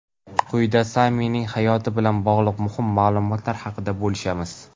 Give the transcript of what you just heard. Quyida Samining hayoti bilan bog‘liq muhim ma’lumotlar haqida bo‘lishamiz.